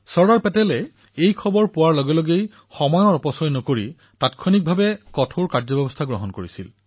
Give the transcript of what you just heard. চৰ্দাৰ পেটেলে এই কথা গম পায়েই অকণো সময় নষ্ট নকৰি তুৰন্তে কঠোৰ কাৰ্যব্যৱস্থা গ্ৰহণ কৰিছিল